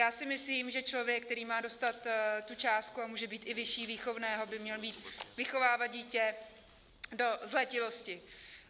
Já si myslím, že člověk, který má dostat tu částku, a může být i vyšší výchovné, by měl být vychovávat dítě do zletilosti.